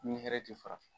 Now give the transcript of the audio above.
Ni hɛrɛ ti fara